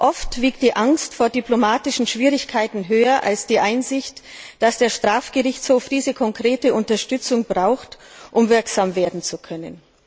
Oft wiegt die Angst vor diplomatischen Schwierigkeiten höher als die Einsicht, dass der Strafgerichtshof diese konkrete Unterstützung braucht, um wirksam werden zu können.